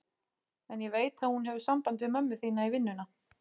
En ég veit að hún hefur samband við mömmu þína í vinnuna.